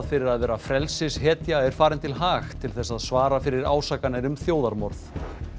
fyrir að vera frelsishetja er farin til Haag til þess að svara fyrir ásakanir um þjóðarmorð